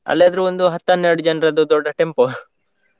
ಅಲ್ಯಾದ್ರೆ ಒಂದು ಹತ್ತನ್ನೆರಡು ಜನ್ರದ್ದು ದೊಡ್ಡ tempo .